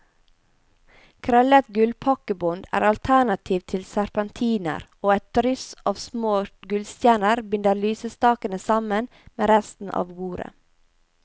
Krøllet gullpakkebånd er alternativ til serpentiner, og et dryss av små gullstjerner binder lysestakene sammen med resten av bordet.